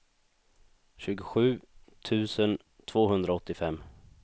tjugosju tusen tvåhundraåttiofem